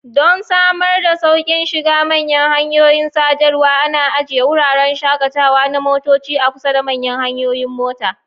Don samar da sauƙin shiga manyan hanyoyin sadarwa, ana ajiye wuraren shakatawa na motoci a kusa da manyan hanyoyin mota.